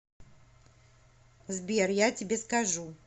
сбер я тебе скажу